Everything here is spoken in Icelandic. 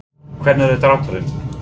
Hvenær er drátturinn?